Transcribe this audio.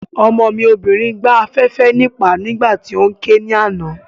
Ọmọ mi obìnrin gbá afẹ́fẹ́ níìpá nígbà tí óún ké ní àná